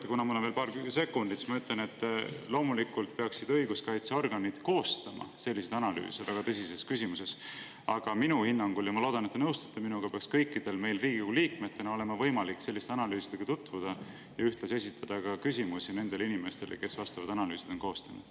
Ja kuna mul on veel paar sekundit, siis ma ütlen, et loomulikult peaksid õiguskaitseorganid koostama analüüse selles väga tõsises küsimuses, aga minu hinnangul ja ma loodan, et te nõustute minuga, peaks meil kõigil Riigikogu liikmetena olema võimalik selliste analüüsidega tutvuda ja ühtlasi esitada küsimusi nendele inimestele, kes need analüüsid on koostanud.